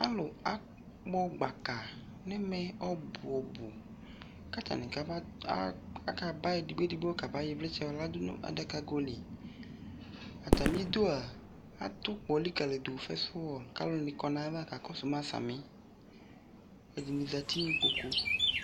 Alu akpɔ gbaka nɛmɛ ɔbuɔbu Atane ka ba, a, akaba edigbo edihbo kaba yɔ evletsɛ lɛ no adakago li Atame duaa ato ukpɔ likali do, fɛnswɔl ka alu ne kɔ no ava sami Ɛdene zati ne ikpoku